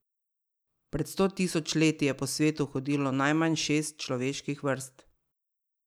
Pred sto tisoč leti je po svetu hodilo najmanj šest človeških vrst.